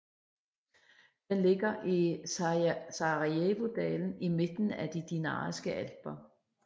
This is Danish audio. Den ligger i Sarajevodalen i midten af de Dinariske Alper